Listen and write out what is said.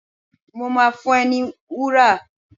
Mo máa fún ẹ ní wúrà.